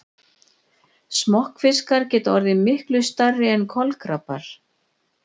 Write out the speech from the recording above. Smokkfiskar geta orðið miklu stærri en kolkrabbar.